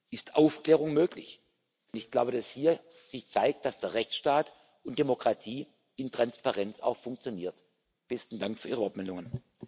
ist Aufklärung möglich. Und ich glaube, dass sich hier zeigt, dass der Rechtsstaat und Demokratie in Transparenz auch funktionieren. Besten Dank für Ihre Wortmeldungen.